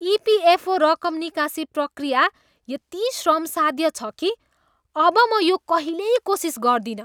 EPFO रकम निकासी प्रक्रिया यति श्रमसाध्य छ कि अब म यो कहिल्यै कोसिस गर्दिनँ।